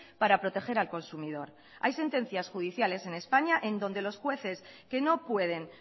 para proteger al consumidor hay sentencias judiciales en españa en donde los jueces que no pueden